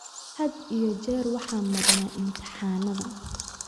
Had iyo jeer waxaan marnaa imtixaannada